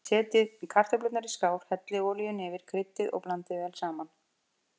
Setjið kartöflurnar í skál, hellið olíunni yfir, kryddið og blandið vel saman.